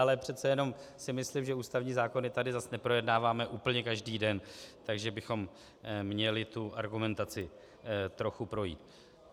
Ale přece jenom si myslím, že ústavní zákony tady zase neprojednáváme úplně každý den, takže bychom měli tu argumentaci trochu projít.